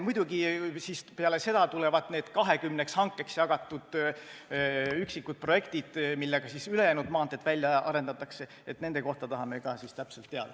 Muidugi tulevad peale seda need 20-ks hankeks jagatud üksikud projektid, millega siis ülejäänud maanteed välja arendatakse, ka nende kohta tahame täpselt teada.